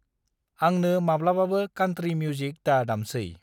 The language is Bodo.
आंनो माब्लाबाबो कान्ट्री मिउजिक दा दामसै।